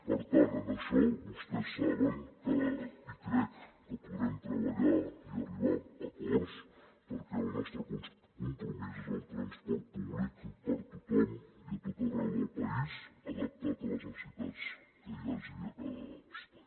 per tant en això vostès saben i crec que podrem treballar i arribar a acords perquè el nostre compromís és el transport públic per a tothom i a tot arreu del país adaptat a les necessitats que hi hagi a cada espai